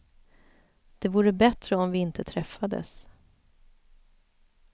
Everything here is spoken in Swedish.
Det vore bättre om vi inte träffades.